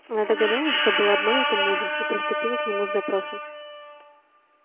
она догадалась что была обманута мужем и приступила к нему с допросом